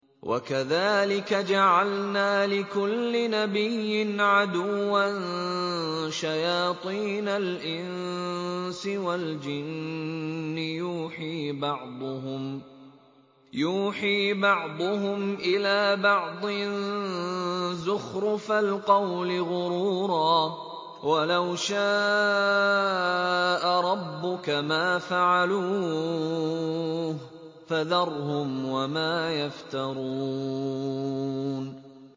وَكَذَٰلِكَ جَعَلْنَا لِكُلِّ نَبِيٍّ عَدُوًّا شَيَاطِينَ الْإِنسِ وَالْجِنِّ يُوحِي بَعْضُهُمْ إِلَىٰ بَعْضٍ زُخْرُفَ الْقَوْلِ غُرُورًا ۚ وَلَوْ شَاءَ رَبُّكَ مَا فَعَلُوهُ ۖ فَذَرْهُمْ وَمَا يَفْتَرُونَ